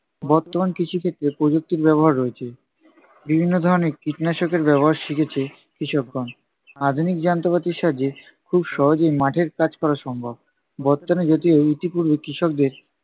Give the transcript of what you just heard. বর্তমান কৃষিক্ষেত্রে প্রযুক্তির ব্যবহার রয়েছে। বিভিন্ন ধরণের কীটনাশকের ব্যবহার শিখেছে কৃষকগণ। আধুনিক যন্ত্রপাতির সাহায্যে খুব সহজেই মাঠের কাজ করা সম্ভব। বর্তমানে যদিও ইতিপূর্বে কৃষকদের